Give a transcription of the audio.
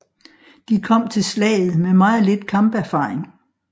De kom til slaget med meget lidt kamperfaring